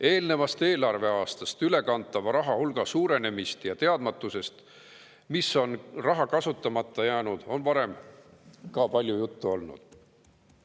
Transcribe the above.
Eelnevast eelarveaastast ülekantava raha hulga suurenemisest ja teadmatusest, miks on raha kasutamata jäänud, on varem juba omajagu juttu olnud.